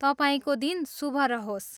तपाईँको दिन शुभ रहोस्।